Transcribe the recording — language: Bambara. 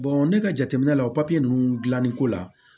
ne ka jateminɛ la o papiye ninnu dilanni ko la